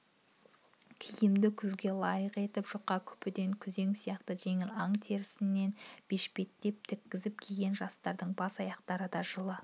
киімді күзге лайық етіп жұқа күпіден күзен сияқты жеңіл аң терісінен бешпетше тіккізіп киген жастардың бас-аяқтарында да жылы